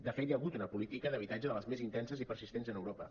de fet hi ha hagut una política d’habitatge de les més intenses i persistents a europa